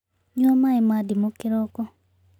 Nyua maĩ ma ndĩmũ kĩroko